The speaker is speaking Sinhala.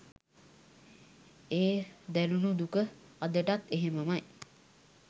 ඒ දැනුනු දුක අදටත් එහෙමමයි.